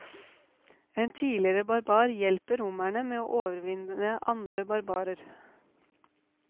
En tidligere barbar hjelper romerne med å overvinne andre barbarer.